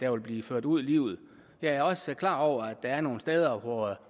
vil blive ført ud i livet jeg er også klar over at der er nogle steder hvor